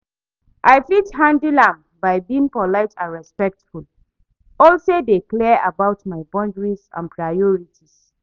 I fit handle am by being polite and respectful, also dey clear about my boundaries and priorities.